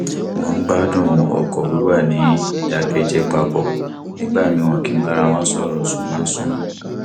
wọn ń gbádùn ọkọ wíwà ní ìdákẹjẹ papọ nígbà míì wọn kì í bára wọn sọrọ ṣùgbọn súnmọ